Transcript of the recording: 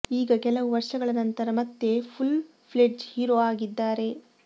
ಈಗ ಕೆಲವು ವರ್ಷಗಳ ನಂತರ ಮತ್ತೆ ಫುಲ್ ಫ್ಲೆಡ್ಜ್ ಹೀರೋ ಆಗಿದ್ದಾರೆ